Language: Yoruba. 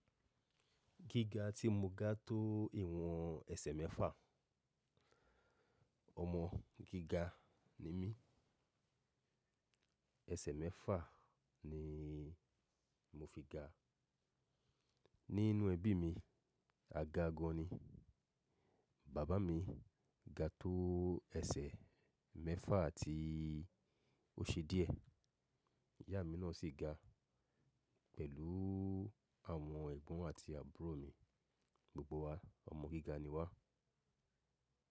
Gíga tí mo gá tó ìwọ̀n ẹsẹ̀ mẹ́fà. Ọmọ gíga ni mí. Ẹsẹ̀ mẹ́fà ni mo fi ga. Nínú ẹbí mi, a ga gan ni. Bàbá mi ga tó ẹsẹ̀ mẹ́fà àti o ṣe díẹ̀. Ìyá mi náà sì ga pẹ̀lú àwọn ẹ̀gbọ́n àti àbúrò mi. Gbogbo wa ọmọ gíga ni wá.